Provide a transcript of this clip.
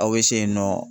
Aw bɛ se yen nɔ